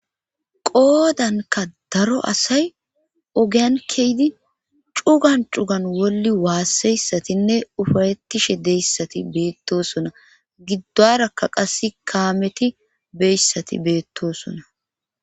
Qoodanka daro asay ogeyankeydi cugan cugan wolli waasseyssatinne ufarettishe deyssati beettosona giddarakka qas kaameti beyssati beettosona.